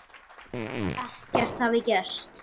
Ekkert hafi gerst.